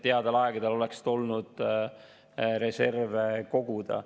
Headel aegadel oleks tulnud reserve koguda.